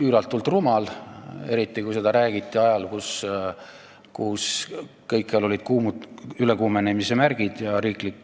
Üüratult rumal, eriti kui seda räägiti ajal, kui kõikjal olid ülekuumenemise märgid ja riigi